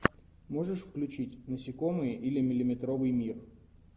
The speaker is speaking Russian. можешь включить насекомые или миллиметровый мир